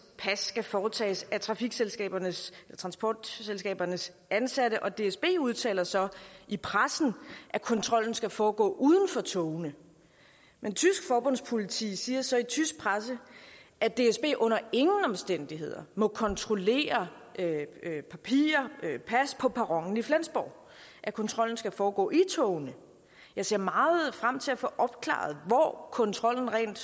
pas skal foretages af transportselskabernes transportselskabernes ansatte og dsb udtaler så i pressen at kontrollen skal foregå uden for togene men tysk forbundspoliti siger så i tysk presse at dsb under ingen omstændigheder må kontrollere papirer eller pas på perronen i flensborg at kontrollen skal foregå i togene jeg ser meget frem til at få opklaret hvor kontrollen rent